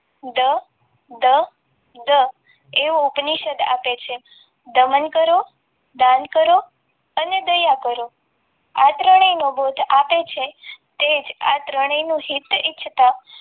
દ દ દ એવો ઉપનિષદ આપે છે દમન કરો દાન કરો અને દયા કરો આ ત્રણેયનો બોધ આપ્યો છે તે જ આ ત્રણેયનું હિત ઇચ્છતા